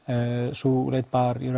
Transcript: sú leit bar í